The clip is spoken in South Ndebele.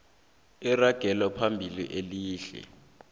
iragelo phambili elihle